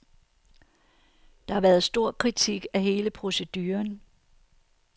Der har været stor kritik af hele proceduren.